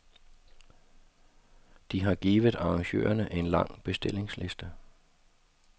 De har givet arrangørerne en lang bestillingsliste.